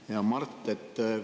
Hea Mart!